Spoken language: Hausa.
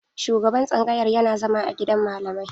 Shugaban tsangayar yana zama a gidan malamai.